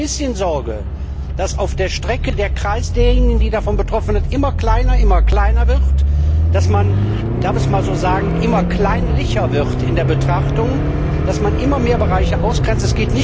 Ich habe ein bisschen Sorge, dass auf der Strecke der Kreis derjenigen, die davon betroffen sind, immer kleiner und kleiner wird, dass man darf ich es einmal so sagen immer kleinlicher wird in der Betrachtung, dass man immer mehr Bereiche ausgrenzt.